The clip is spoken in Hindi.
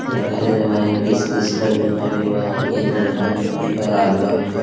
सरकारी दवाएं किस-किस का बीमारी हुआ है ये नरेंद्र मोदी का एलान है।